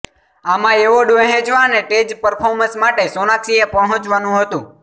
આમાં એવોર્ડ વહેંચવા અને સ્ટેજ પર્ફોર્મન્સ માટે સોનાક્ષીએ પહોંચવાનું હતુ